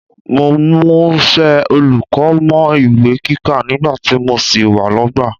Mo múṣẹ́ olùkọ́ mọ́ ìwé kíkà nígbà tí mo sì wà lọ́gbà